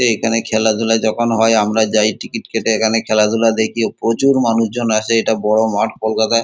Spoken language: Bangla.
এ এখানে খেলাধুলা যখন হয় আমরা যাই টিকেট কেটে এখানে খেলাধুলা দেখি প্রচুর মানুষজন আসে এটা বড় মাঠ কলকাতায়।